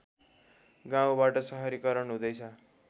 गाउँबाट सहरीकरण हुँदै छ